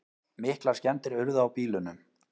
Miklar skemmdir urðu á bílunum